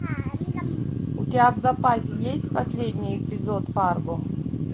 у тебя в запасе есть последний эпизод фарго